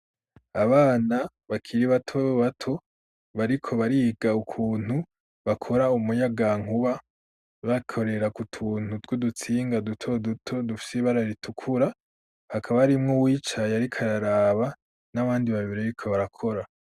Abana bakiri bato bato bariko bariga ukuntu bakora umuyaga nkuba bakorera ku tuntu tw'udutsinga duto duto dufise bararitukura hakaba arimwo wicaye arikararaba n'abandi babire riko barakora.